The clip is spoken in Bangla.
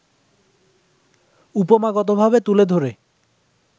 উপমাগতভাবে তুলে ধরে